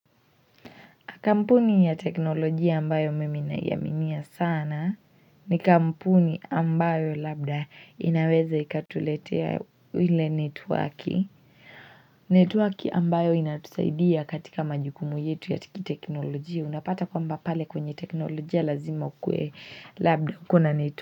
Kampuni ya teknolojia ambayo mimi naiaminia sana ni kampuni ambayo labda inaweza ikatuletea ile netwaki. Netwaki ambayo inatusaidia katika majukumu yetu ya tiki teknolojia unapata kwamba pale kwenye teknolojia lazima ukuwe labda kuwa na.